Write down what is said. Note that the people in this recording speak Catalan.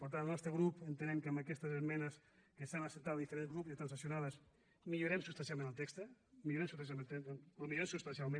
per tant el nostre grup entenem que amb aquestes esmenes que s’han acceptat de diferents grups i transaccionades millorem substancialment el text el millorem substancialment